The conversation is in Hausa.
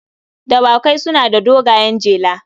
Dawakai suna da dogayen jela.